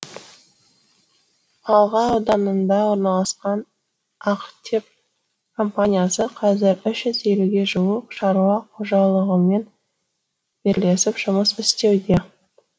алға ауданында орналасқан актеп компаниясы қазір үш жүз елуге жуық шаруа қожалығымен бірлесіп жұмыс істеуде